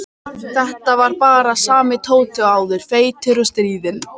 Þetta var bara sami Tóti og áður, feitur og stríðinn.